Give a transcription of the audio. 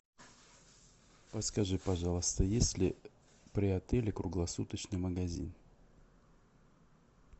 подскажи пожалуйста есть ли при отеле круглосуточный магазин